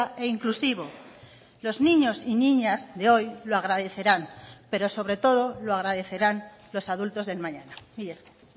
e inclusivo los niños y niñas de hoy lo agradecerán pero sobre todo lo agradecerán los adultos del mañana mila esker